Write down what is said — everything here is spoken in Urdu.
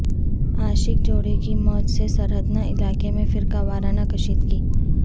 عاشق جوڑے کی موت سے سردھنا علاقہ میں فرقہ وارانہ کشیدگی